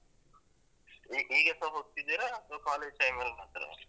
ಈ~ ಈಗಸ ಹೋಗ್ತಿದ್ದೀರಾ ಅತ್ವ college time ಅಲ್ಲ್ ಮಾತ್ರವಾ?